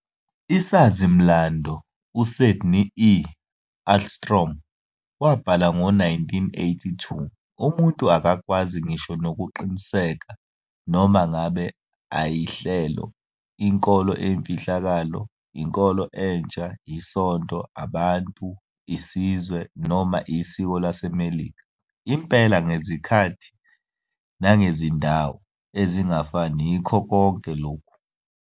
Isazi-mlando, uSydney E. Ahlstrom, wabhala ngo-1982, "Umuntu akakwazi ngisho nokuqiniseka, noma ngabe ayihlelo, inkolo eyimfihlakalo, inkolo entsha, isonto, abantu, isizwe, noma isiko laseMelika, impela, ngezikhathi nangezindawo ezingafani yikho konke lokhu ".